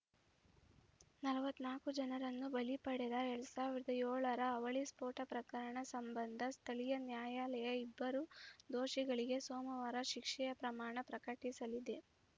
ನಲವತ್ತ್ ನಾಲ್ಕು ಜನರನ್ನು ಬಲಿ ಪಡೆದ ಎರಡ್ ಸಾವಿರದ ಏಳರ ಅವಳಿ ಸ್ಫೋಟ ಪ್ರಕರಣ ಸಂಬಂಧ ಸ್ಥಳೀಯ ನ್ಯಾಯಾಲಯ ಇಬ್ಬರು ದೋಷಿಗಳಿಗೆ ಸೋಮವಾರ ಶಿಕ್ಷೆಯ ಪ್ರಮಾಣ ಪ್ರಕಟಿಸಲಿದೆ